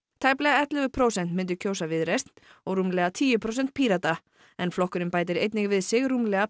tæplega ellefu prósent myndu kjósa Viðreisn og rúmlega tíu prósent Pírata en flokkurinn bætir einnig við sig rúmlega